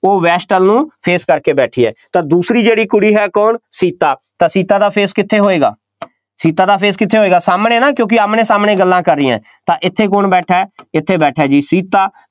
ਉਹ west ਵੱਲ ਨੂੰ face ਕਰਕੇ ਬੈਠੀ ਹੈ, ਤਾਂ ਦੂਸਰੀ ਜਿਹੜੀ ਕੁੜੀ ਹੈ ਕੌਣ, ਸੀਤਾ, ਤਾਂ ਸੀਤਾ ਦਾ face ਕਿੱਥੇ ਹੋਏਗਾ ਸੀਤਾ ਦਾ face ਕਿੱਥੇ ਹੋਏਗਾ, ਸਾਹਮਣੇ ਨਾ ਕਿਉਂਕਿ ਆਹਮਣੇ-ਸਾਹਮਣੇ ਗੱਲਾਂ ਕਰ ਰਹੀਆਂ, ਤਾਂ ਇੱਥੇ ਕੌਣ ਬੈਠਾ, ਇੱਥੇ ਬੈਠਾ ਜੀ ਸੀਤਾ,